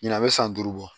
Ɲinan bɛ san duuru bɔ